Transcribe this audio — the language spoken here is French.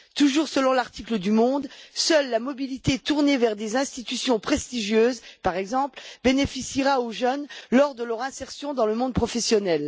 Toujours selon l'article du journal Le Monde seule la mobilité tournée vers des institutions prestigieuses, par exemple, bénéficiera aux jeunes lors de leur insertion dans le monde professionnel.